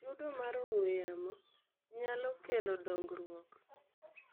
Chudo mar ong'we yamo nyalo kelo dongruok